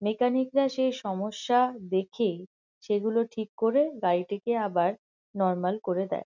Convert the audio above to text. Mechanic -রা সেই সমস্যা দেখে সেগুলো ঠিক করে গাড়িটিকে আবার নরমাল করে দেয়।